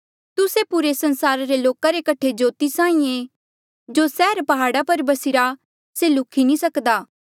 तुस्से पुरे संसारा रे लोका रे कठे ज्योति साहीं ऐें जो सैहर प्हाड़ा पर बसिरा से नी ल्हुखी सक्दा